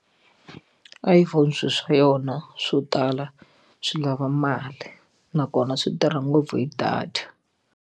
iPhone swilo swa yona swo tala swi lava mali nakona swi tirha ngopfu hi data.